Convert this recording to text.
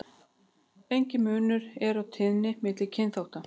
Enginn munur er á tíðni milli kynþátta.